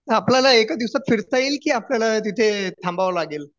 म्हणजे आपल्याला एका दिवसात फिरता येईल की तिथे आपल्याला थांबावं लागेल